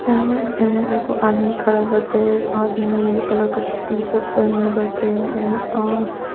इमे-इमे एगो आदमी खडल बाटे। एक आदमी रेड कलर का टी-शर्ट पहीनले बाटे इमे अह --